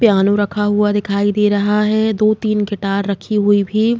Piano रखा हुआ दिखाई दे रहा है। दो तिन गिटार रखी हुई भी --